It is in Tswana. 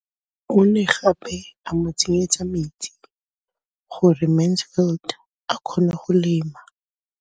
O ne gape a mo tsenyetsa metsi gore Mansfield a kgone go lema.